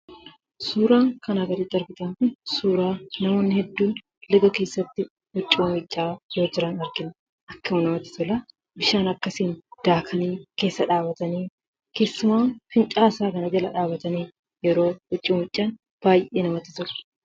Suuraan kanaa gaditti argitan kun suuraa namoonni hedduun laga keessatti huccuu miiccaa jiran argina. Akkam namatti tola! Bishaan akkasiin daakanii keessa dhaabbatani, keessumaa fincaa'aa isaa kana jala dhaabbatani yeroo huccuu miiccan baayyee namatti tola.